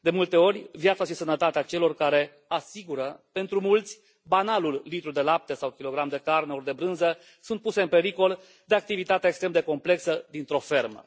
De multe ori, viața și sănătatea celor care asigură pentru mulți banalul litru de lapte sau kilogram de carne ori de brânză sunt puse în pericol de activitatea extrem de complexă dintr o fermă.